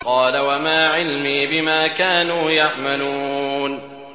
قَالَ وَمَا عِلْمِي بِمَا كَانُوا يَعْمَلُونَ